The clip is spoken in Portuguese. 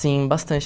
Sim, bastante.